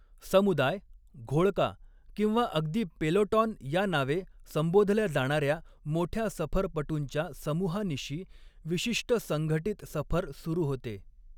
समुदाय, घोळका किंवा अगदी पेलोटॉन या नावे संबोधल्या जाणाऱ्या मोठ्या सफरपटूंच्या समूहानिशी विशिष्ट संघटित सफर सुरू होते.